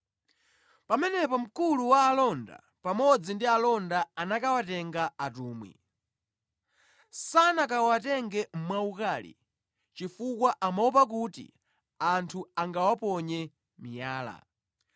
Pamenepo mkulu wa alonda pamodzi ndi alonda anakawatenga atumwi. Sanakawatenge mwaukali, chifukwa amaopa kuti anthu angawaponye miyala.